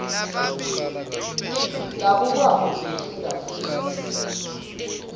labukwako kuhle kakhulu